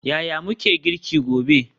Yaya muke girki gobe?